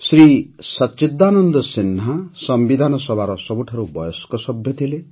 ଶ୍ରୀ ସଚ୍ଚିଦାନନ୍ଦ ସିହ୍ନା ସମ୍ବିଧାନ ସଭାର ସବୁଠାରୁ ବୟସ୍କ ସଭ୍ୟ ଥିଲେ